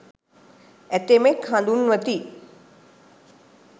ඇතමෙක් හඳුන්වති.